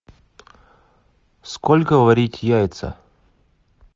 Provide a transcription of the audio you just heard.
сколько варить яйца